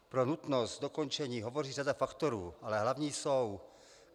Pro nutnost dokončení hovoří řada faktorů, ale hlavní jsou: